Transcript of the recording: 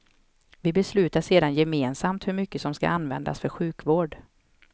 Vi beslutar sedan gemensamt hur mycket som skall användas för sjukvård.